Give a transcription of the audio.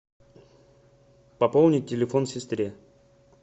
пополнить телефон сестре